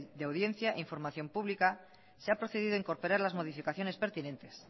de audiencia e información pública se ha procedido a incorporar las modificaciones pertinentes